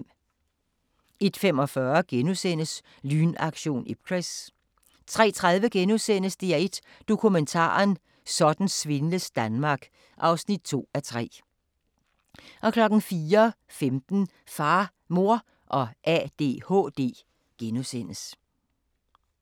01:45: Lynaktion Ipcress * 03:30: DR1 Dokumentaren: Sådan svindles Danmark (2:3)* 04:15: Far, Mor og ADHD *